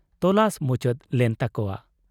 ᱛᱚᱞᱟᱥ ᱢᱩᱪᱟᱹᱫ ᱞᱮᱱ ᱛᱟᱠᱚᱣᱟ ᱾